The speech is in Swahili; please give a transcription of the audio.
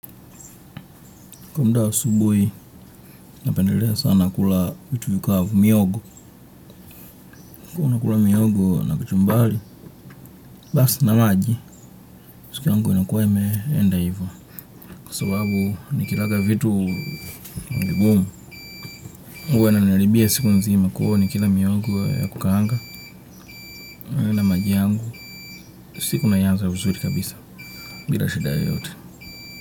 Kwa mda wa asubuhi, napendelea sana kula vitu vikavu mihogo. Ko nakula mihogo na kachumbali, basi na maji, siku yangu inakuwa imeenda hivo. Kwa sababu nikilaga vitu vigumu. Huwa inaniharibia siku nzima kuo nikila mihogo ya kukaanga. Maji yangu, siku naianza uzuri kabisa. Bila shida yoyote.